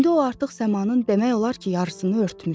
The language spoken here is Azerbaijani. İndi o artıq səmanın demək olar ki, yarısını örtmüşdü.